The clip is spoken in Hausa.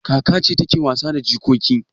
Kaka ce take wasa da jikoki.